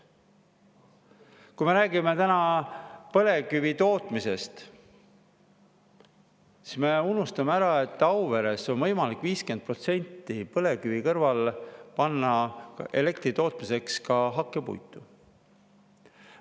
Kui me räägime põlevkivitootmisest, siis me unustame ära, et Auveres on võimalik 50% ulatuses põlevkivi kõrval panna elektri tootmiseks ka hakkepuitu.